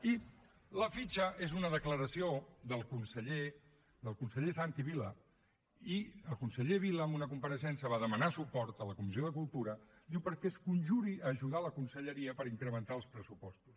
i la fitxa és una declaració del conseller santi vila i el conseller vila en una compareixença va demanar suport a la comissió de cultura diu perquè es conjuri a ajudar la conselleria per incrementar els pressupostos